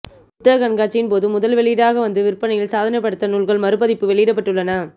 புத்தக கண்காட்சியின் போது முதல் வெளியீடாக வந்து விற்பனையில் சாதனை படைத்த நூல்கள் மறுபதிப்பு வெளியிடப்பட்டுள்ளன